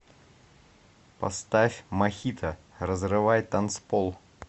поставь мохито разрывай танцпол